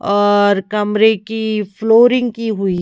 और कमरे की फ्लोरिंग की हुई।